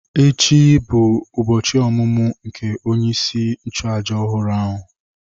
Echi bụ ụbọchị ọmụmụ nke onye isi nchụàjà ọhụrụ ahụ.